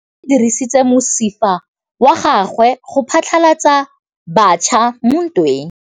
Lepodisa le dirisitse mosifa wa gagwe go phatlalatsa batšha mo ntweng.